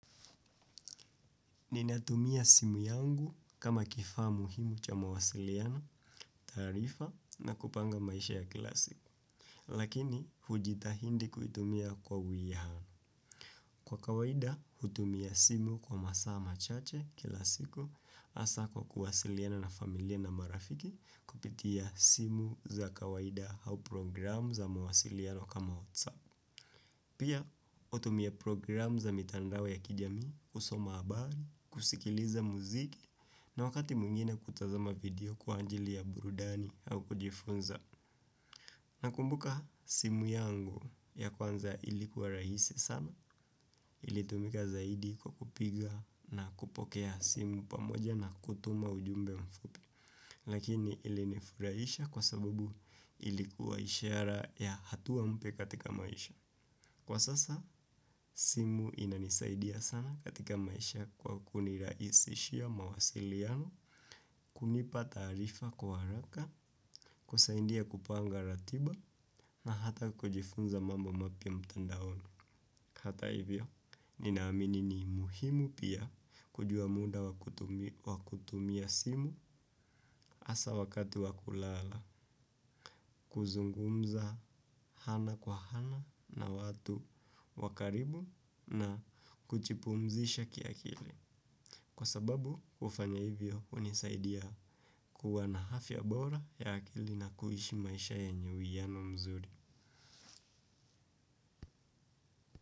Ninatumia simu yangu kama kifaa muhimu cha mawasiliano, taarifa na kupanga maisha ya kila siku. Lakini, hujitahidi kuitumia kwa uwiano. Kwa kawaida, hutumia simu kwa masaa machache kila siku hasa kwa kuwasiliana na familia na marafiki kupitia simu za kawaida au programu za mawasiliano kama WhatsApp. Pia hutumia programu za mitandao ya kijamii kusoma habari, kusikiliza muziki na wakati mwingine kutazama video kwa ajili ya burudani au kujifunza. Nakumbuka simu yangu ya kwanza ilikuwa rahisi sana ilitumika zaidi kwa kupiga na kupokea simu pamoja na kutuma ujumbe mfupi. Lakini ilinifurahisha kwa sababu ilikuwa ishara ya hatua mpya katika maisha. Kwa sasa, simu inanisaidia sana katika maisha kwa kunirahisishia mawasiliano, kunipa taarifa kwa haraka, kusaidia kupanga ratiba na hata kujifunza mambo mapya mtandaoni. Hata hivyo, ninaamini ni muhimu pia kujua muda wa kutumia simu hasa wakati wa kulala, kuzungumza ana kwa ana na watu wa karibu na kujipumzisha kiakili. Kwa sababu, hufanya hivyo hunisaidia kuwa na afya bora ya akili na kuishi maisha yenye uwiano mzuri.